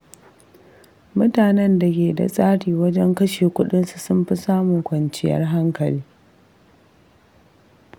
Mutanen da ke da tsari wajen kashe kuɗinsu sun fi samun kwanciyar hankali.